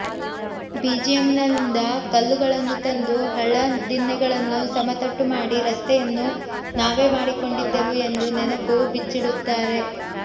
ಬಿಜಿಎಂಎಲ್ನಿಂದ ಕಲ್ಲುಗಳನ್ನು ತಂದು ಹಳ್ಳದಿನ್ನೆಗಳನ್ನು ಸಮತಟ್ಟು ಮಾಡಿ ರಸ್ತೆಯನ್ನು ನಾವೇ ಮಾಡಿಕೊಂಡಿದ್ದೆವು ಎಂದು ನೆನಪು ಬಿಚ್ಚಿಡುತ್ತಾರೆ